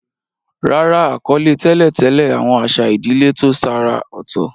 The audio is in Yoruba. Rárá, àkọlé tẹ́lẹ̀ tẹ̀lé àwọn àṣà ìdílé tó ṣàrà ọ̀tọ̀.